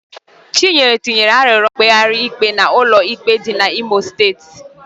Chinyere tinyere arịrịọ mkpegharị ikpe n'ụlọ ikpe dị n'Imo steeti.